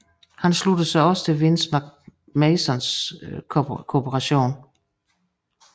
Han sluttede sig også til Vince McMahons Corporation